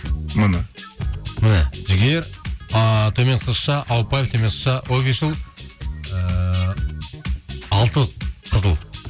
міне міне жігер а төменгі сызықша ауыпбаева төменгі сызықша офишл ііі алты қызыл